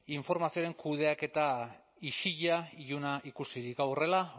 informazioaren kudeaketa isila iluna ikusirik hau horrela